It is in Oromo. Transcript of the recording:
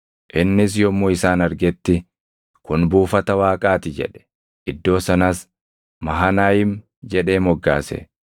Innis yommuu isaan argetti, “Kun buufata Waaqaa ti” jedhe; iddoo sanas Mahanayiim jedhee moggaase.